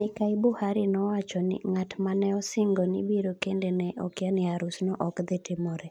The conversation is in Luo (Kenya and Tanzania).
Mikai Buhari na owachoni:Ng'at maneosingoni biro kende ne okiya ni Harus no okdhitimore.